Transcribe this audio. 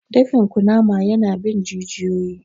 Dafin kunnama ya na bin jijiyoyi